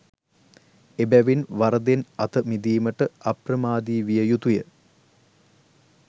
එබැවින් වරදෙන් අත මිදීමට අප්‍රමාදී විය යුතුය.